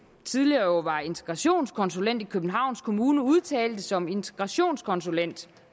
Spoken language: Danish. tidligere var integrationskonsulent i københavn kommune udtalte som integrationskonsulent